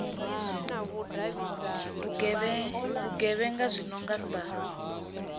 vhugevhenga zwi no nga sa